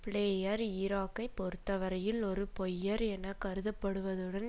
player ஈராக்கைப் பொறுத்த வரையில் ஒரு பொய்யர் என கருதப்படுவதுடன்